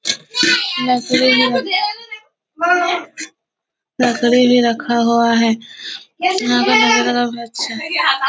लकड़ी भी रख लकड़ी भी रखा हुआ है यहाँ का वनावरण भी अच्छा है।